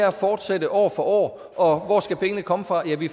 at fortsætte år for år hvor skal pengene komme fra ja vi